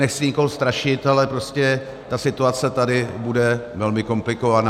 Nechci nikoho strašit, ale prostě ta situace tady bude velmi komplikovaná.